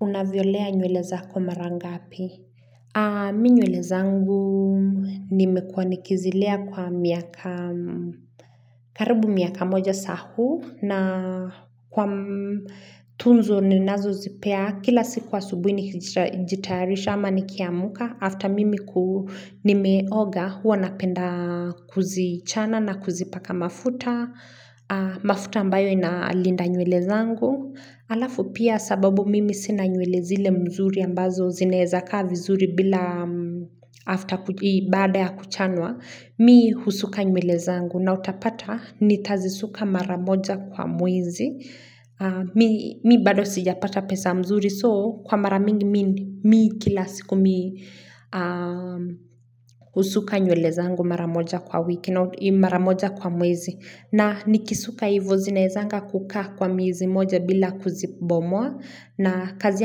Unaviolea nywelezako maranga api? Mi nyweleza ngu ni mekwa nikizilea kwa miaka karibu miaka moja sahu na kwa tunzo ni nazo zipea kila siku wa subuhi nijitayarisha ama nikiamuka. After mimi ku nimeoga huwa napenda kuzichana na kuzipaka mafuta, mafuta ambayo inalinda nywele zangu. Alafu pia sababu mimi sina nywele zile mzuri ambazo zinaezakaa vizuri bila baada ya kuchanwa Mi husuka nywele zangu na utapata nitazisuka maramoja kwa mwezi Mi bado sijapata pesa mzuri soo kwa maramingi mi kila siku mi husuka nywele zangu maramoja kwa wiki kina maramoja kwa mwezi. Na nikisuka hivu zinaezanga kuka kwa mwezi moja bila kuzibomoa na kazi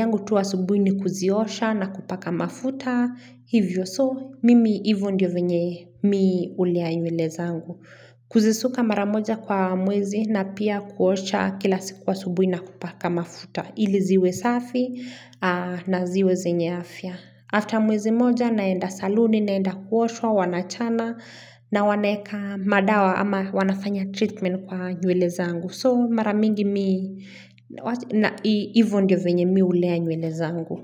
yangu tu asubuhi ni kuziosha na kupaka mafuta. Hivyo so, mimi hivyo ndio venye miuliaiwele zangu. Kuzisuka maramoja kwa mwezi na pia kuosha kila sikuwa asubuhi na kupaka mafuta. Hili ziwe safi na ziwe zenyeafia. After mwezi moja naenda saluni, naenda kuosha, wanachana na waneka madawa ama wanafanya treatment kwa nyeweleza angu. So maramingi mi, na ivo ndio venye mi ulea nyeweleza angu.